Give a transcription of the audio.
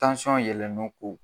yɛlɛnnen ko